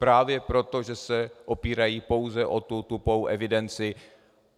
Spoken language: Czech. Právě proto, že se opírají pouze o tu tupou evidenci.